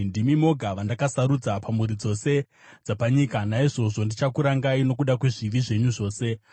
“Ndimi moga vandakasarudza pamhuri dzose dzapanyika; naizvozvo ndichakurangai nokuda kwezvivi zvenyu zvose.”